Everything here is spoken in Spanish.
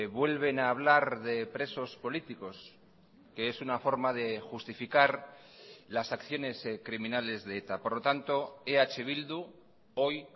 vuelven a hablar de presos políticos que es una forma de justificar las acciones criminales de eta por lo tanto eh bildu hoy